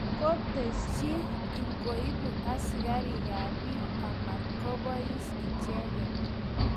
koteschi ingubu asigarikap peeg amatko poos icheget